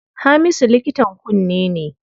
Hamisu likitan kunne ne.